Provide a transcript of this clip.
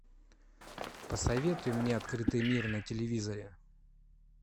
посоветуй мне открытый мир на телевизоре